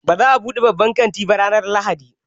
Ba za a buɗe babban kantin ba ranar Lahadi.